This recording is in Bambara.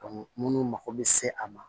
munnu mako bɛ se a ma